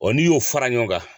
Ɔɔ n'i y'o fara ɲɔgɔn kan.